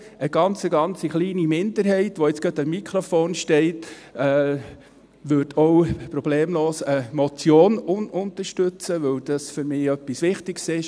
Eine ganz, ganz kleine Minderheit, welche gerade am Mikrofon steht, würde auch problemlos eine Motion unterstützen, weil dies für mich etwas Wichtiges ist.